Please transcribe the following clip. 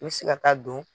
I bɛ se ka taa don